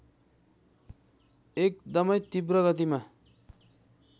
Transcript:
एकदमै तीव्र गतिमा